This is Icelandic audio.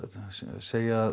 segja að